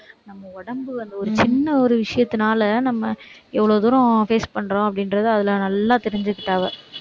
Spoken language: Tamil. நம்ம உடம்பு அந்த ஒரு சின்ன ஒரு விஷயத்துனால, நம்ம எவ்வளவு தூரம் face பண்றோம் அப்படின்றது, அதுல நல்லா தெரிஞ்சுக்கிட்டா அவ